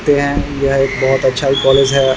देख सकते हैं यह एक बहुत ही अच्छा कॉलेज है ।